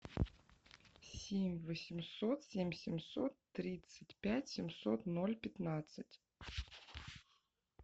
семь восемьсот семь семьсот тридцать пять семьсот ноль пятнадцать